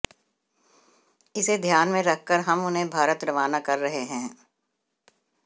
इसे ध्यान में रखकर हम उन्हें भारत रवाना कर रहे हैं